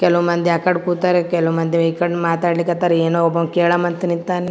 ಕೆಲವುಮಂದಿ ಆಕಡೆ ಕೂತರೆ ಕೆಲವುಮಂದಿ ಈಕಡೆ ಮಾತಾಡಲಿಕತ್ತರ್ ಏನೋ ಒಬ್ಬವನ್ನು ಕೇಳ್ ಮತ್ತಿ ನಿಂತನೆ.